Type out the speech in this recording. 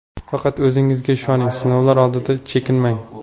Faqat o‘zingizga ishoning, sinovlar oldida chekinmang.